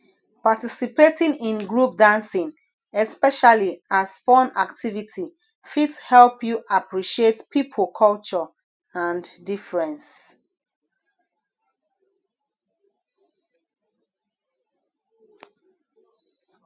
participating in group dancing especially as fun activity fit help you appreciate pipo culture and difference